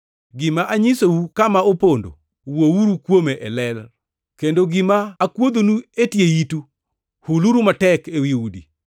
Gima anyisou kama opondo, wuouru kuome e ler; kendo gima akuodhonu e tie itu, huluru matek ewi udi.